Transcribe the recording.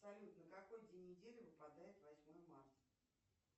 салют на какой день недели выпадает восьмое марта